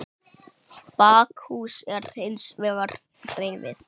Bakhús er hins vegar rifið.